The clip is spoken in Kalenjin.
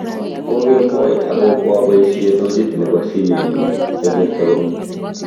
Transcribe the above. Kokemboi ako koabaisye tochit nebo simenyu sagerto komye